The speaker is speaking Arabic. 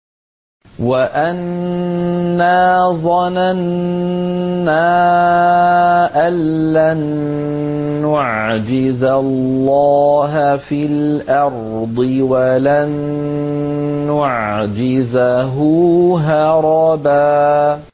وَأَنَّا ظَنَنَّا أَن لَّن نُّعْجِزَ اللَّهَ فِي الْأَرْضِ وَلَن نُّعْجِزَهُ هَرَبًا